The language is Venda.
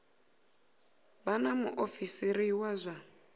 vha na muofisiri wa zwa